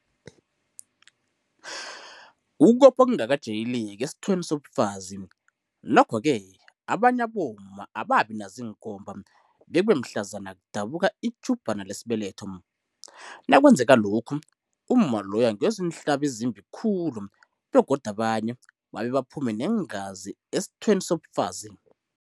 Ukopha okungakajayeleki esithweni sobufazi, Nokho-ke, abanye abomma ababi nazo iinkomba, bekube mhlazana kudabuka itjhubhana lesibeletho. Nakwenzeka lokhu, umma loyo angezwa iinhlabi ezimbi khulu begodu abanye babe baphume neengazi esithweni sobufazi.